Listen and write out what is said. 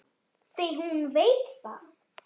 Því hún veit það.